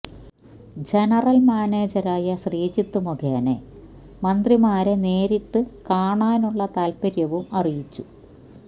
general മാനേജറായ ശ്രീജിത്ത് മുഖേന മന്ത്രിമാരെ നേരിട്ട് കാണാനുള്ള താൽപ്പര്യവും അറിയിച്ചു